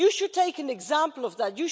You should take an example from that.